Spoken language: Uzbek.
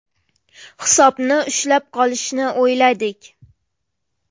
Hisobni ushlab qolishni o‘yladik.